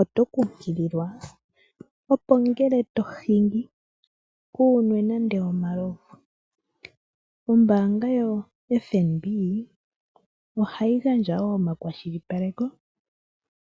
Oto kunkililwa, opo ngele tohingi, kuunwe nande omalovu. Ombaanga yoFNB ohayi gandja wo omakwashilipaleko,